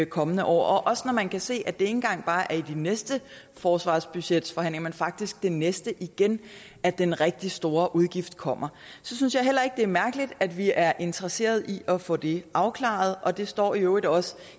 kommende år også når man kan se at det ikke engang bare er i den næste forsvarsbudgetforhandling men faktisk den næste igen at den rigtig store udgift kommer så synes jeg heller ikke det er mærkeligt at vi er interesseret i at få det afklaret og det står i øvrigt også